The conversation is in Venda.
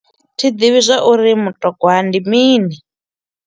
Thi ḓivhi zwa uri mutogwa ndi mini.